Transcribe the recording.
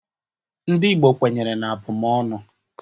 NdỊ Igbo kwenyere n'abụmọnụ.